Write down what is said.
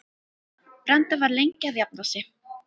Branda var lengi að jafna sig.